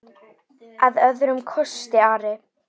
Að öðrum kosti Ari?